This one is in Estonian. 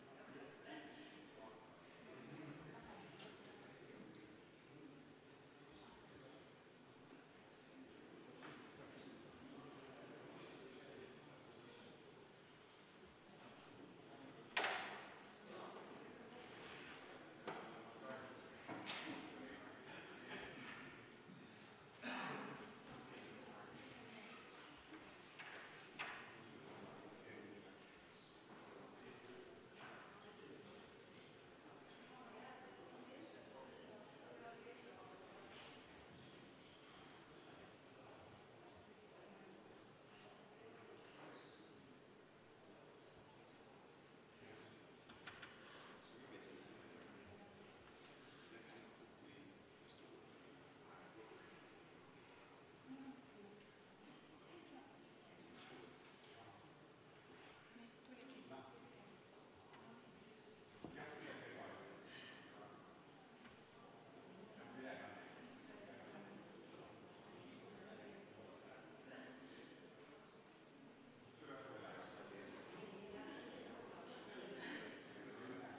Võtan kümme minutit juhataja vaheaega.